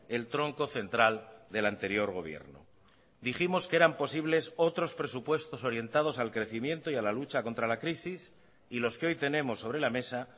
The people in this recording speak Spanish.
el tronco central del anterior gobierno dijimos que eran posibles otros presupuestos orientados al crecimiento y a la lucha contra la crisis y los que hoy tenemos sobre la mesa